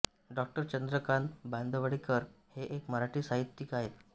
डॉ चंद्रकांत बांदिवडेकर हे एक मराठी साहित्यिक आहेत